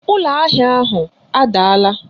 Ụlọ ahịa ahụ adaala